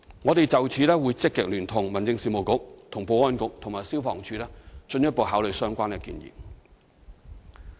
我們會就此積極聯同民政事務局、保安局及消防處進一步考慮有關建議。